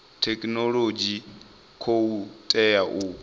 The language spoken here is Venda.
thekhinolodzhi u khou tea u